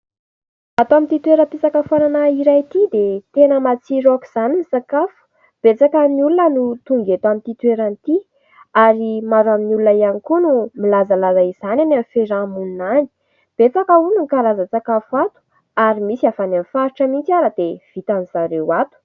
Ato amin'ity toeram-pisakafoanana iray ity dia tena matsiro aok'izany ny sakafo, betsaka ny olona no tonga eto amin'ity toerana ity ary maro amin'ny olona ihany koa no milazalaza izany any amin'ny fiaraha-monina any, betsaka hono ny karazan-tsakafo ato ary misy avy any amin'ny faritra mihitsy ary dia vitany zareo ato.